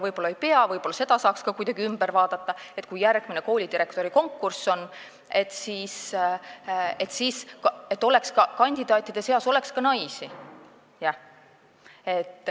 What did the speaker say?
Võib-olla ei pea, võib-olla saaks seda ka kuidagi üle vaadata, nii et kui järgmine koolidirektorikonkurss on, siis oleks kandidaatide seas ka naisi.